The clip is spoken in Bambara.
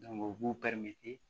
u b'u